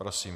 Prosím.